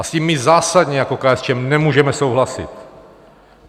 A s tím my zásadně jako KSČM nemůžeme souhlasit.